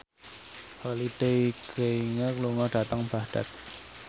Holliday Grainger lunga dhateng Baghdad